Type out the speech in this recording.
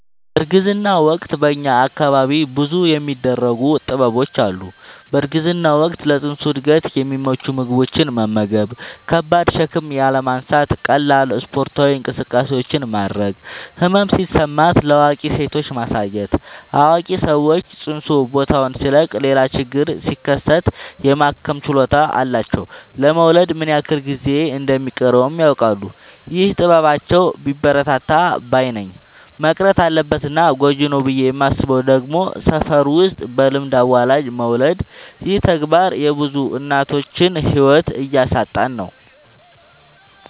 በእርግዝና ወቅት በእኛ አካባቢ ብዙ የሚደረጉ ጥበቦች አሉ። በእርግዝና ወቅት ለፅንሱ እድገት የሚመቹ ምግቦችን መመገብ። ከባድ ሸክም ያለማንሳት ቀላል ስፓርታዊ እንቅስቃሴዎችን ማድረግ። ህመም ሲሰማት ለአዋቂ ሴቶች ማሳየት አዋቂ ሰዎች ፅንሱ ቦታውን ሲለቅ ሌላ ችግር ሲከሰት የማከም ችሎታ አላቸው ለመወለድ ምን ያክል ጊዜ እንደ ሚቀረውም ያውቃሉ። ይህ ጥበባቸው ቢበረታታ ባይነኝ። መቅረት አለበት እና ጎጂ ነው ብዬ የማስበው ደግሞ ሰፈር ውስጥ በልምድ አዋላጅ መውለድ ይህ ተግባር የብዙ እናቶችን ህይወት እያሳጣን ነው።